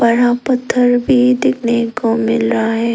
यहां पत्थर भी दिखने को मिल रहा है।